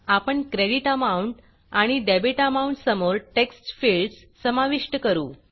आपण credit amount आणि debit amount समोर टेक्स्ट फिल्डस समाविष्ट करू